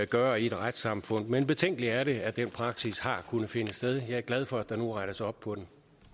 gøre i et retssamfund men betænkeligt er det at den praksis har kunnet finde sted jeg er glad for at der nu rettes op på